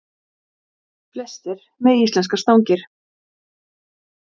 Halldór fékk fjögurra ára dóm.